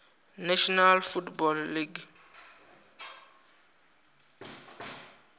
national football league